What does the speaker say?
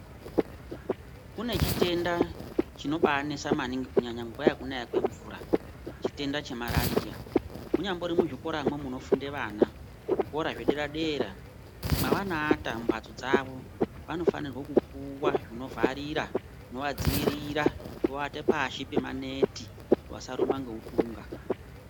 Kune chitenda chinobanesa maningi kunyanya nguwa yekunaya kwemvura chitenda chemarariya. Munyambori muzvikoramwo munofunde vana. Zvikora zvedera dera mwavanoata mumbatso dzavo vanofanirwe kupuwa zvinovharira zvinovadziirira nekuata pasi pemaneti kuti vasarumwa ngeutunga.